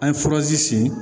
An ye furazi si